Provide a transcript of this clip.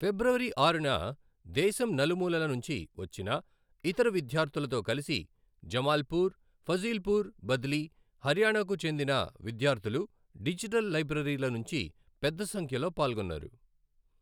ఫిబ్రవరి ఆరున దేశం నలుమూలల నుంచి వచ్చిన ఇతర విద్యార్ధులతో కలిసి జమాల్పూర్, ఫజీల్పూ్ బద్లీ హర్యానా కు చెందిన విద్యార్ధులు డిజిటల్ లైబ్రరీల నుంచి పెద్ద సంఖ్యలో పాల్గొన్నారు.